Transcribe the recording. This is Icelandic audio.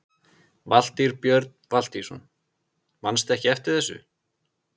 Valtýr Björn Valtýsson: Manstu ekkert eftir þessu?